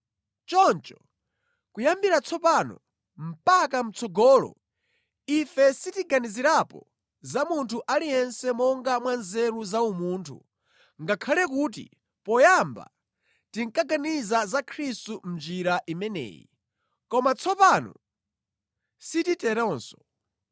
Choncho, kuyambira tsopano mpaka mʼtsogolo ife sitiganizirapo za munthu aliyense monga mwanzeru za umunthu, ngakhale kuti poyamba tinkaganiza za Khristu mʼnjira imeneyi, koma tsopano sititeronso.